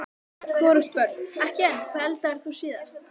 hvorugt Börn: ekki enn Hvað eldaðir þú síðast?